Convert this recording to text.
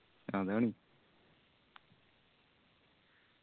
അതാണ്.